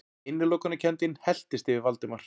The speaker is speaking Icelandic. Innilokunarkenndin helltist yfir Valdimar.